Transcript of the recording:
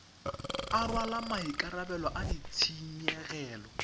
a rwala maikarabelo a ditshenyegelo